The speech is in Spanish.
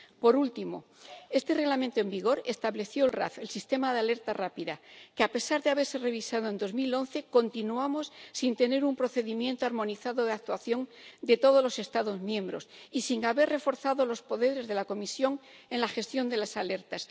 Por último, este Reglamento en vigor estableció el sistema de alerta rápida, pero, a pesar de haberse revisado en 2011, continuamos sin tener un procedimiento armonizado de actuación de todos los Estados miembros y sin haber reforzado los poderes de la Comisión en la gestión de las alertas.